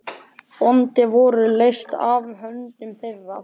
Böndin voru leyst af höndum þeirra.